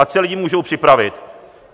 Ať se lidé můžou připravit.